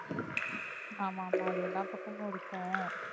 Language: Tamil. ஆமா ஆமா அது எல்லா பக்கமும் இருக்கும்